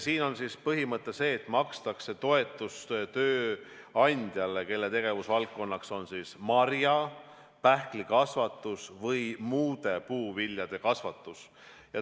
Siin on põhimõte see, et makstakse toetust tööandjale, kelle tegevusvaldkond on marja-, pähklikasvatus või muude puuviljade kasvatus.